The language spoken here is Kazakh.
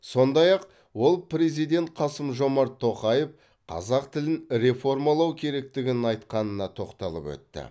сондай ақ ол президент қасым жомарт тоқаев қазақ тілін реформалау керектігін айтқанына тоқталып өтті